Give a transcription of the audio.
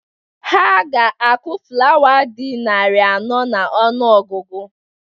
Ha ga-akụ flawa dị narị anọ n'ọnụọgụgụ.